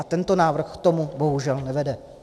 A tento návrh k tomu bohužel nevede.